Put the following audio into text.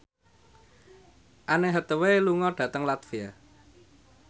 Anne Hathaway lunga dhateng latvia